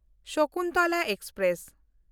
Sakuntala express